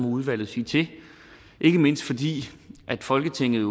udvalget sige til ikke mindst fordi folketinget